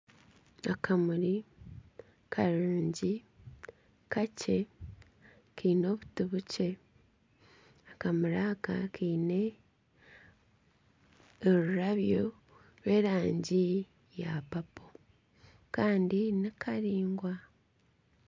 Akamuri karungi kakye kiine obuti bukye akamuri aka kiine orurabyo rw'erangi ya papo kandi nikaraingwa.